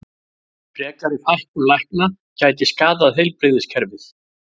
Frekari fækkun lækna gæti skaðað heilbrigðiskerfið